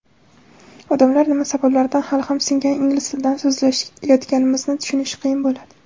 odamlar nima sababdan hali ham "singan" ingliz tilida so‘zlashayotganimizni tushunishi qiyin bo‘ladi.